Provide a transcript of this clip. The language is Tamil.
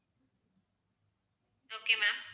okay ma'am